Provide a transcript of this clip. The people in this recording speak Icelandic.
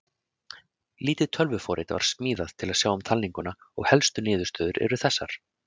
Lítið tölvuforrit var smíðað til að sjá um talninguna og helstu niðurstöður eru þessar: